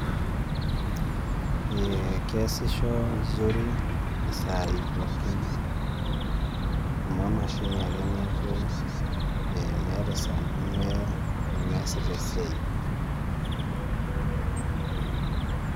Ee keasisho zuri isaai pookin amu emashini taake meeta esaa nemeasita esiai.